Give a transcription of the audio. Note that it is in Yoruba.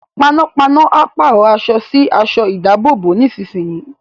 Panápaná a pàrọ̀ aṣọ sí aṣọ ìdábòbò nísinsìnyí